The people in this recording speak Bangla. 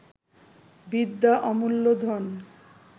বিদ্যা অমূল্য ধন